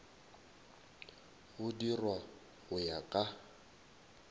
go dirwa go ya ka